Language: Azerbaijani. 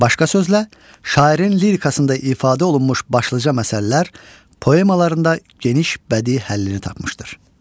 Başqa sözlə, şairin lirikasında ifadə olunmuş başlıca məsələlər poemalarında geniş bədii həllini tapmışdır.